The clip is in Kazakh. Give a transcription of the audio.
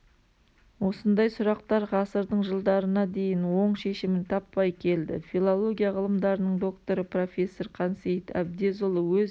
осындай сұрақтар ғасырдың жылдарына дейін оң шешімін таппай келді филология ғылымдарының докторы профессор қансейіт әбдезұлы өз